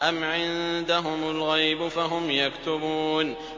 أَمْ عِندَهُمُ الْغَيْبُ فَهُمْ يَكْتُبُونَ